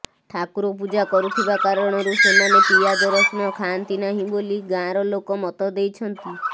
ଠାକୁର ପୂଜା କରୁଥିବା କାରଣରୁ ସେମାନେ ପିଆଜରସୁଣ ଖାଆନ୍ତି ନାହିଁ ବୋଲି ଗାଁର ଲୋକ ମତ ଦେଇଛନ୍ତି